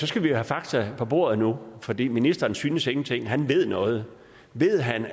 skal vi jo have fakta på bordet nu fordi ministeren synes ingenting han ved noget ved han